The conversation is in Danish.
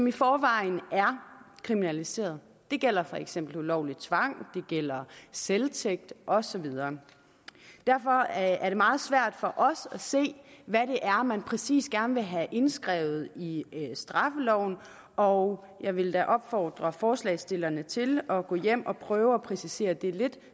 i forvejen er kriminaliseret det gælder for eksempel ulovlig tvang det gælder selvtægt og så videre derfor er det meget svært for os at se hvad det er man præcis gerne vil have indskrevet i straffeloven og jeg vil da opfordre forslagsstillerne til at gå hjem og prøve at præcisere det lidt